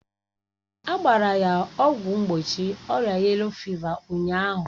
A gbara ya ọgwụ mgbochi ọrịa yelo fịva ụnyaahụ